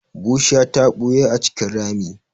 Bushiya ta ɓuya a cikin rami.